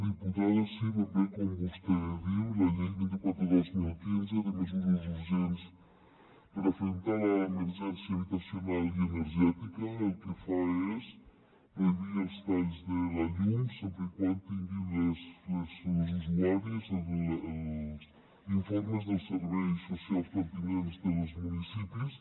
diputada sí ben bé com vostè diu la llei vint quatre dos mil quinze de mesures urgents per afrontar l’emergència habitacional i energètica el que fa és prohibir els talls de la llum sempre que tinguin els usuaris els informes dels serveis socials pertinents dels municipis